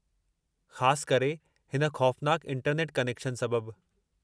ख़ासु करे, हिन ख़ौफ़नाकु इंटरनेट कनेक्शन सबबु।